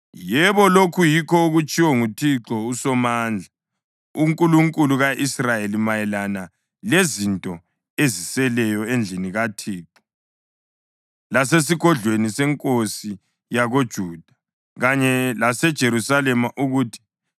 yebo, lokhu yikho okutshiwo nguThixo uSomandla, uNkulunkulu ka-Israyeli, mayelana lezinto eziseleyo endlini kaThixo lasesigodlweni senkosi yakoJuda kanye laseJerusalema ukuthi: